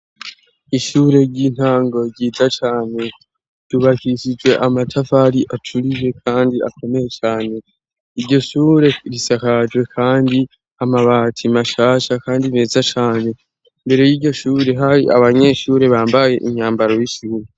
ishure ry'intango ryiza cane tubahirijwe amatafari aturiye kandi akomeye cane iryo shure risakajwe kandi amabati mashasha kandi meza cane imbere y'iryoshuri hari abanyeshuri bambaye imyambaro y'ishuru